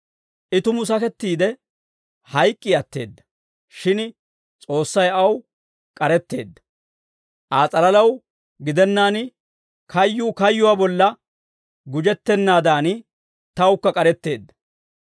I tumu sakettiide, hayk'k'i atteedda; shin S'oossay aw k'aretteedda; Aa s'alalaw gidennaan kayyuu kayyuwaa bolla gujettennaadan, tawukka k'aretteedda.